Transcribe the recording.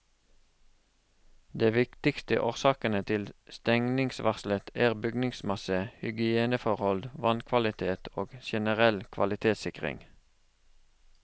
De viktigste årsakene til stengningsvarselet er bygningsmasse, hygieneforhold, vannkvalitet og generell kvalitetssikring.